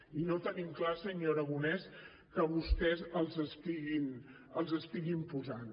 i no tenim clar senyor aragonès que vostès els estiguin posant